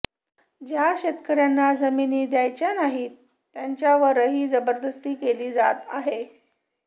ज्या शेतकर्यांना जमिनी द्यायच्या नाहीत त्यांच्यावरही जबरदस्ती केली जात आहे